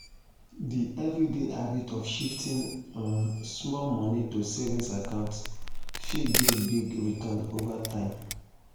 d everyday habit of shifting um small money to savings accounts fit give big return over time.